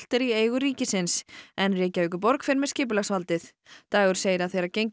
er í eigu ríkisins en Reykjavíkurborg fer með skipulagsvaldið dagur segir að þegar gengið